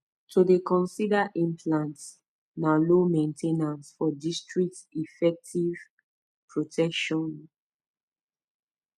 to dey consider implant na low main ten ance for discreet efective protection pause pause